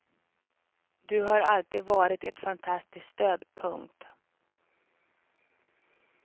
Du har alltid varit ett fantastiskt stöd. punkt